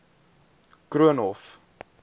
koornhof